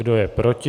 Kdo je proti?